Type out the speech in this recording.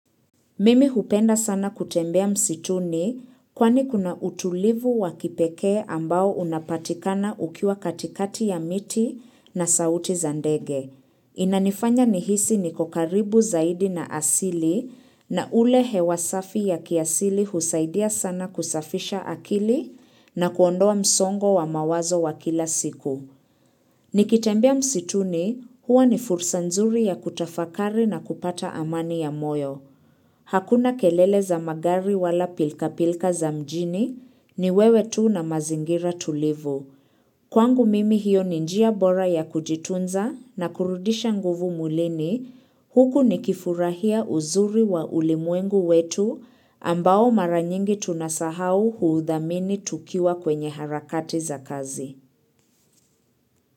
Mimi hupenda sana kutembea msituni kwani kuna utulivu wa kipekee ambao unapatikana ukiwa katikati ya miti na sauti za ndege. Inanifanya nihisi niko karibu zaidi na asili na ule hewa safi ya kiasili husaidia sana kusafisha akili na kuondoa msongo wa mawazo wa kila siku. Nikitembea msituni huwa ni fursa nzuri ya kutafakari na kupata amani ya moyo. Hakuna kelele za magari wala pilka-pilka za mjini ni wewe tu na mazingira tulivu. Kwangu mimi hiyo ni njia bora ya kujitunza na kurudisha nguvu mwilini. Huku nikifurahia uzuri wa ulimwengu wetu ambao mara nyingi tunasahau huudhamini tukiwa kwenye harakati za kazi.